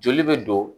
Joli bɛ don